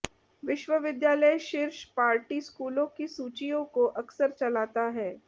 विश्वविद्यालय शीर्ष पार्टी स्कूलों की सूचियों को अक्सर चलाता है